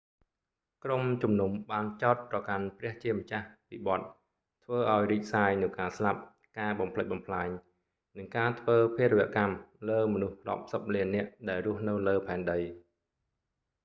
ក្រុមជំនុំបានចោទប្រកាន់ព្រះជាម្ចាស់ពីបទ ធ្វើឲ្យរីកសាយនូវការស្លាប់ ការបំផ្លិចបំផ្លាញ និងការធ្វើភារវកម្មលើមនុស្សរាប់សិបលាននាក់ដែលរស់នៅលើផែនដី